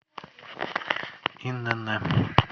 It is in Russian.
инн